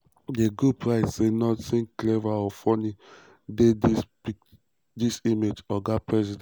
di group di group write say "nothing clever or funny dey dis image oga president.